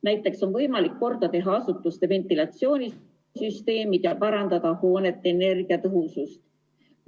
Näiteks on võimalik korda teha asutuste ventilatsioonisüsteemid ja parandada hoonete energiatõhusust.